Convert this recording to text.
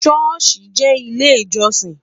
shosi jẹ ilé ìjósìn